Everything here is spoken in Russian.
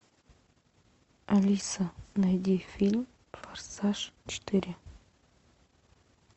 алиса найди фильм форсаж четыре